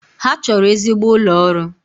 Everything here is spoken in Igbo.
Ha chọrọ ezigbo ụlọ ọrụ